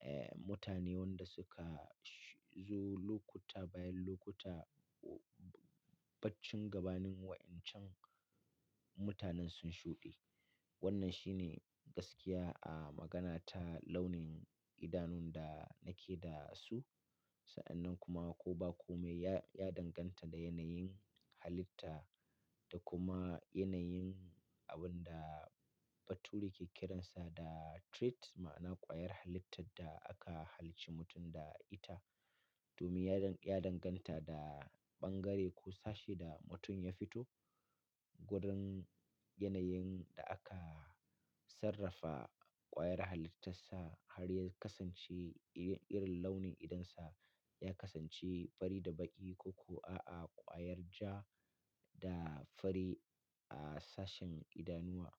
eh mutane wanda suka zo lokuta bayan lokuta baccin gabanin wa'incan mutanen sun shuɗe. Wannan shi ne gaskiya a magana ta launin idanun da nake da su. Sa'annan kuma ko ba kome ya, ya danganta da yanayin halitta da kuma yanayin abun da bature ke kiransa da trait ma'ana ƙwayar halittar da aka halicci mutum da ita. Domin ya danganta da bangare ko sashe da mutum ya fito wurin yanayin da aka sarrafa ƙwayar halittarsa har ya kasance irin launin idonsa ya kasance fari da baƙi ko ko a'a ƙwayar ja da fari a sashen idanuwa.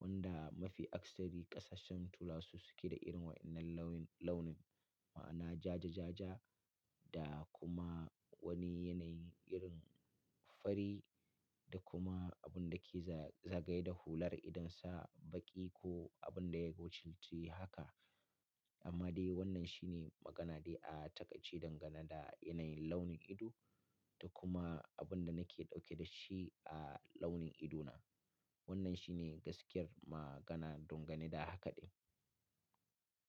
Wanda mafi akasari ƙasashen turawa su suke da irin waɗannan launin ma'ana ja-ja-ja-ja da kuma wani yanayin irin fari da kuma abun da ke zagaye da hular idonsa baƙi ko abun da ya gochici haka. Amma dai wannan shi ne magana dai a taƙair dangane da yanayin launin ido da kuma abin da nake dauke da shi a launin idona. Wannan shi ne gaskiyar magana dangane da hakaɗin.